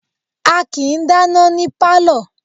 A kìí dáná ní Pálọ̀.